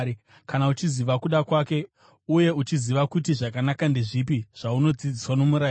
kana uchiziva kuda kwake uye uchiziva kuti zvakanaka ndezvipi zvaunodzidziswa nomurayiro;